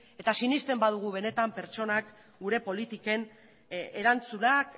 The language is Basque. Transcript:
eta sinesten badugu benetan pertsonak gure politiken erantzunak